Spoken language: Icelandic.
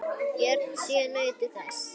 Börnin sjö nutu þess.